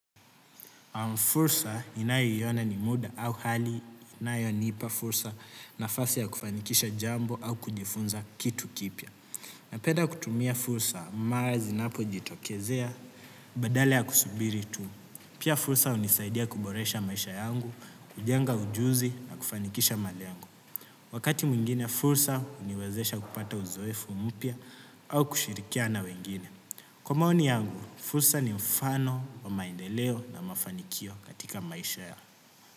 Fursa inayoiona ni muda au hali, inayonipa fursa na fasi ya kufanikisha jambo au kujifunza kitu kipiya. Napenda kutumia fursa, mara zinapo jitokezea, badale ya kusubiri tu. Pia fursa hunisaidia kuboresha maisha yangu, kujenga ujuzi na kufanikisha malengo. Wakati mwingine fursa huniwezesha kupata uzoefu mupya au kushirikia na wengine. Kwa maoni yangu, fursa ni mfano wa maendeleo na mafanikio katika maisha ya.